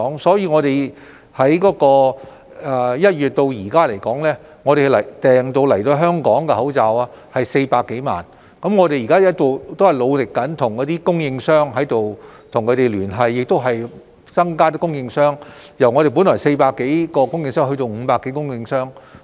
所以，政府由1月至今訂購到港的口罩有400多萬個，我們現在仍然努力跟供應商聯繫，又增加供應商的數額，由原來400多個供應商增加至500多個。